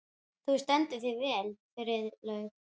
Þú stendur þig vel, Friðlaug!